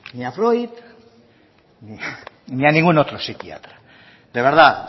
ni a freud ni a ningún otro psiquiatra de verdad